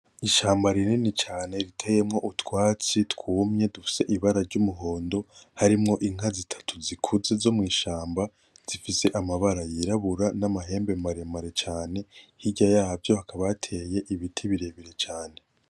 Ishamba rinini cane ritiyemwo utwatsi twumye dufise ibara ry'umuhondo harimwo Inka zitatu zikuze zo mwishamba zifise amabara yirabura; namahembe maremare cane, hirya yaho hateye ibiti birebire cane. .